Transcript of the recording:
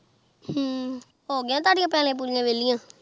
ਹਮ ਹੋ ਗਯਾ ਥੁਦਾ ਪੁਲਿਯਾ ਵੇਲਿਯ